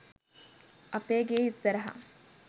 අපේ ගෙ ඉස්සරහ